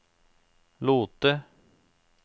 Lote